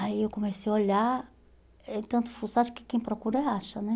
Aí eu comecei a olhar, eh de tanto fuçar acho que quem procura acha, né?